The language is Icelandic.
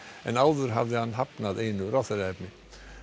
en áður hafði hann hafnað einu ráðherraefni